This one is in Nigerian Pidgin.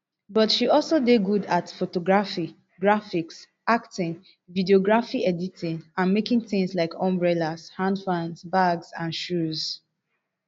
but she also dey good at photography graphics acting videography editing and making tins like umbrellas hand fans bags and shoes